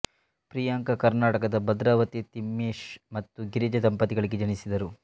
ಪ್ರಿಯಾಂಕಾ ಕರ್ನಾಟಕದ ಭದ್ರಾವತಿಯಲ್ಲಿ ತಿಮ್ಮೇಶ್ ಮತ್ತು ಗಿರಿಜಾ ದಂಪತಿಗಳಿಗೆ ಜನಿಸಿದರು